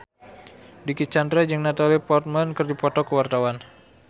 Dicky Chandra jeung Natalie Portman keur dipoto ku wartawan